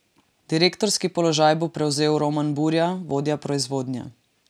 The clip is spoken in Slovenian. Direktorski položaj bo prevzel Roman Burja, vodja proizvodnje.